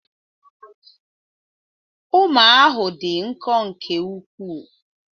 Ụma ahụ dị nkọ nke ukwuu